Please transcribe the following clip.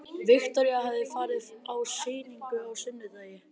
Viktoría hafði farið á sýninguna á sunnudegi.